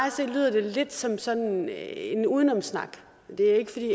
se lyder det lidt som sådan en udenomssnak det er ikke fordi